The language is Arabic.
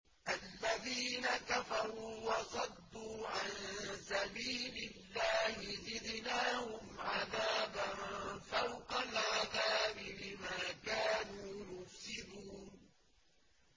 الَّذِينَ كَفَرُوا وَصَدُّوا عَن سَبِيلِ اللَّهِ زِدْنَاهُمْ عَذَابًا فَوْقَ الْعَذَابِ بِمَا كَانُوا يُفْسِدُونَ